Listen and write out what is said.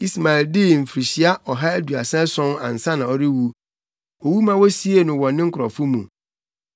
Ismael dii mfirihyia ɔha aduasa ason ansa na ɔrewu. Owu ma wosiee no wɔ ne nkurɔfo mu.